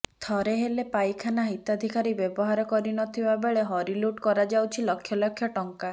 ଥରେ ହେଲେ ପାଇଖାନା ହିତାଧିକାରୀ ବ୍ୟବହାର କରି ନଥିବା ବେଳେ ହରିଲୁଟ କରାଯାଉଛି ଲକ୍ଷଲକ୍ଷ ଟଙ୍କା